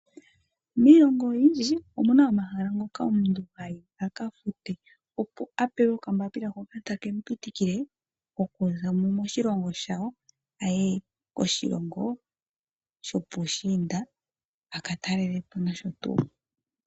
Miilongo oyindji omuna omahala ngoka omuntu hayi aka fute, opo a pewa okambaapila hoka take mu pitikile okuzamo moshilongo shawo aye koshilongo shopuushinda a ka talele Po nosho tuu